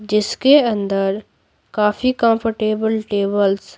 जिसके अंदर काफी कंफर्टेबल टेबल्स --